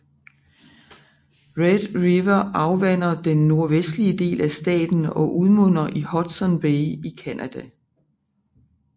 Red River afvander den nordvestlige del af staten og udmunder i Hudson Bay i Canada